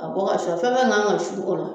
K'a bɔ ka su a fɛn fɛn man ka su ola